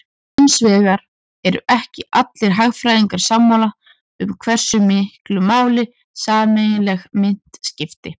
Hins vegar eru ekki allir hagfræðingar sammála um hversu miklu máli sameiginleg mynt skipti.